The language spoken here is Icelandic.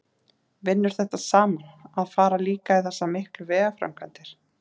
Vinnur þetta saman, að fara líka í þessa miklu vegaframkvæmdir?